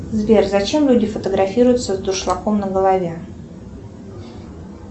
сбер зачем люди фотографируются с дуршлаком на голове